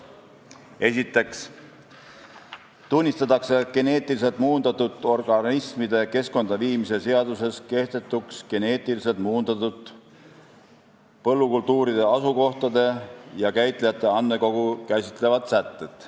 Esiteks tunnistatakse geneetiliselt muundatud organismide keskkonda viimise seaduses kehtetuks geneetiliselt muundatud põllukultuuride asukohtade ja käitlejate andmekogu käsitlevad sätted.